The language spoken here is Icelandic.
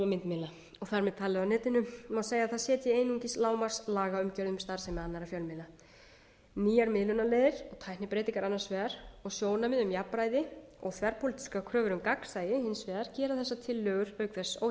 myndmiðla og þar með talið á netinu má segja að það setji einungis lágmarkslagaumgjörð um starfsemi annarra fjölmiðla nýjar miðlunarleiðir tæknibreytingar annars vegar og sjónarmið um jafnræði og þverpólitískar kröfur um gagnsæi hins vegar gera þessar tillögur auk þess